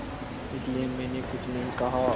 इसलिए मैंने कुछ नहीं कहा